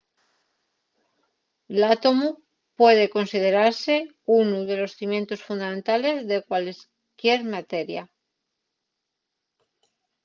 l’átomu puede considerase unu de los cimientos fundamentales de cualesquier materia